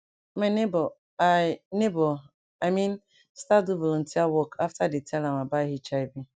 my neighbor i neighbor i mean start do volunteer work after dey tell am about hiv